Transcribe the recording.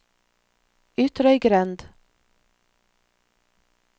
Ytrøygrend